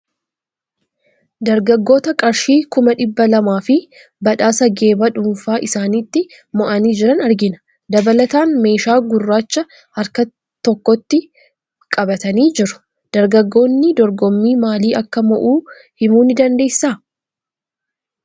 Dargaggoota qarshii kuma dhibba lamaa fi badhaasa geephaa dhuunfaa isaaniitti moo'anii jiran argina. Dabalataan meeshaa gurraacha harkatti tokko tokko qabatanii ni jiru. Dargaggoonni dorgommii maalii akka moo'a himuu ni dandeessaa?